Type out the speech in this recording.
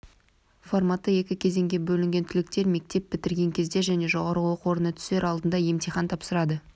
форматы екі кезеңге бөлінген түлектер мектеп бітірген кезде және жоғары оқу орнына түсер алдында емтихан тапсырады